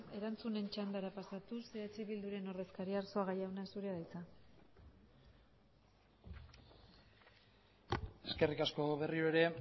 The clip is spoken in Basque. erantzunen txandara pasatuz eh bilduren ordezkaria arzuaga jauna zurea da hitza eskerrik asko berriro ere